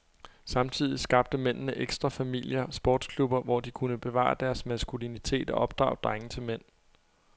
Samtidig skabte mændene ekstrafamilier, sportsklubber, hvor de kunne bevare deres maskulinitet og opdrage drenge til mænd.